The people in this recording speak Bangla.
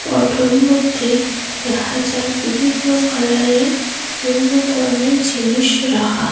ফটোর মইধ্যে দেখা যার বিভিন্ন কালারের বিভিন্ন ধরনের জিনিস রাখা।